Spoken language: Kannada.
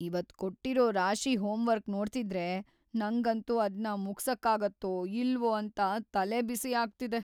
ಇವತ್‌ ಕೊಟ್ಟಿರೋ‌ ರಾಶಿ ಹೋಮ್‌ವರ್ಕ್‌ ನೋಡ್ತಿದ್ರೆ ನಂಗಂತೂ ಅದ್ನ ಮುಗ್ಸಕ್ಕಾಗತ್ತೋ ಇಲ್ವೋ ಅಂತ ತಲೆಬಿಸಿ ಆಗ್ತಿದೆ.